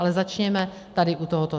Ale začněme tady u tohoto.